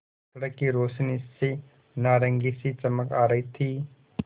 सड़क की रोशनी से नारंगी सी चमक आ रही थी